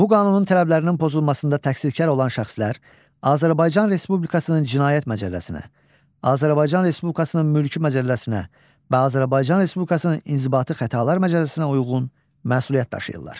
Bu qanunun tələblərinin pozulmasında təqsirkar olan şəxslər Azərbaycan Respublikasının cinayət məcəlləsinə, Azərbaycan Respublikasının mülki məcəlləsinə və Azərbaycan Respublikasının inzibati xətalar məcəlləsinə uyğun məsuliyyət daşıyırlar.